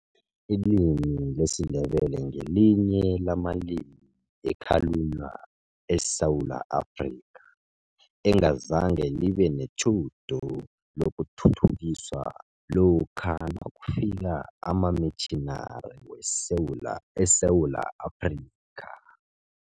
Ilimi lesiNdebele ngelinye lamalimi ekhalunywa eSewula Afrika, engazange libe netjhudu lokuthuthukiswa lokha nakufika amamitjhinari eSewula Afrika.